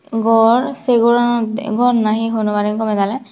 gor sey goranot gor nahi hoi nwbarim doley daley.